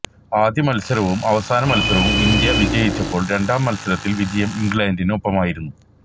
ആദ്യ മത്സരവും അവസാന മത്സരവും ഇന്ത്യ വിജയിച്ചപ്പോള് രണ്ടാം മത്സരത്തില് വിജയം ഇംഗ്ലണ്ടിനൊപ്പമായിരുന്നു